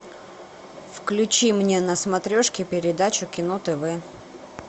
включи мне на смотрешке передачу кино тв